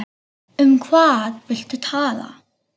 Um hvað viltu tala?